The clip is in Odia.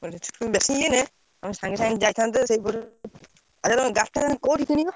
ସାଙ୍ଗେ ସାଙ୍ଗେ ଯାଇଥାନ୍ତେ ଗାଡିଟା କୋଉଠୁ କିଣିବ?